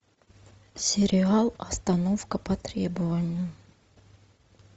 сериал остановка по требованию